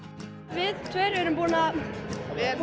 við tveir erum